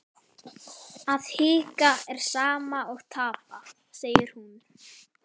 Að hika er sama og tapa, segir hún.